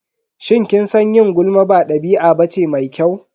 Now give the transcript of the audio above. Shin kin san yin gulma ba ɗabi'a bace mai kyau?